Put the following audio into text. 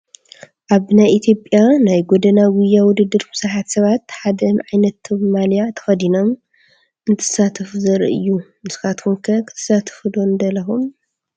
ኣብ ናይ ኢ/ያ ናይ ጎደና ጉያ ውድድር ብዙሓት ሰባት ሓደ ዓይነት ማልያ ተኸዲኖም እንትሳተፉ ዘርኢ እዩ፡፡ ንስኻትኩም ከ ክትሳተፉ ዶ ንደለኹም?